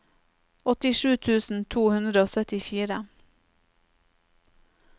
åttisju tusen to hundre og syttifire